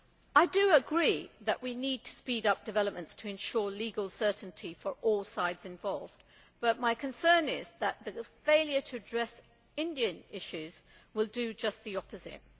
I agree that we need to speed up developments to ensure legal certainty for all sides involved, but my concern is that the failure to address Indian issues will do just the opposite.